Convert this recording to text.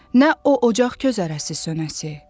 Nə o ocaq közərəsə sönəsə.